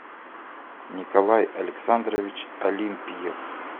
николай александрович олимпиев